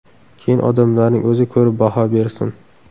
Keyin odamlarning o‘zi ko‘rib baho bersin.